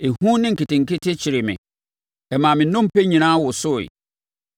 ehu ne nketenkete kyeree me. Ɛmaa me nnompe nyinaa wosoeɛ.